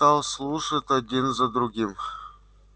стал слушать один за другим